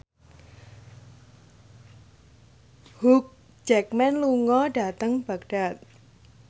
Hugh Jackman lunga dhateng Baghdad